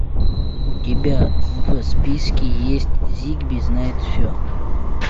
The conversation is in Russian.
у тебя в списке есть зигби знает все